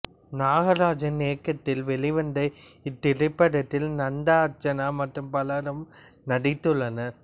நாகராஜன் இயக்கத்தில் வெளிவந்த இத்திரைப்படத்தில் நந்தா அர்ச்சனா மற்றும் பலரும் நடித்துள்ளனர்